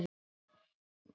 Þegar ég átti leið um